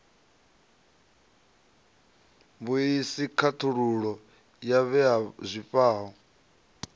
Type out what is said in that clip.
vhuisi khakhululo ya vhue zwifhao